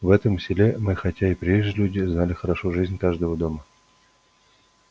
в этом селе мы хотя и приезжие люди знали хорошо жизнь каждого дома